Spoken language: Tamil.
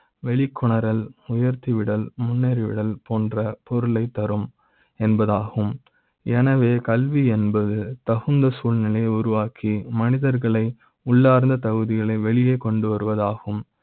வெளிக்கொணர்தல் உயர்த்தி விட ல் முன்னேறி விட ல் போன்ற பொருளை த் தரும் என்பதாகும். என வே கல்வி என்பது தகுந்த சூழ்நிலை யை உருவாக்கி மனிதர்களை உள்ளார்ந்த தகுதிகளை வெளியே கொண்டு வருவது ஆகும்